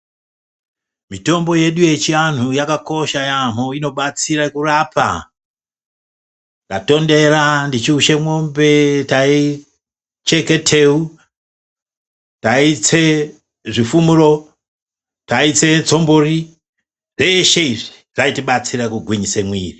Mitombo yedu yechianhu yakakosha yaamho inobatsira kurapa ndatondera ndechiushe mombe taicheke teu, taitse zvifumuro, taitse tsombori zveshe izvi zvaitibatsira kugwinyise mwiri.